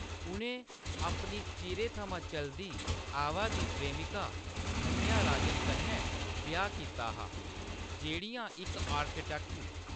उं`नें अपनी चिरै थमां चलदी आवै दी प्रेमिका धन्या राजन कन्नै ब्याह् कीता हा जेह्‌ड़ियां इक आर्किटेक्ट न।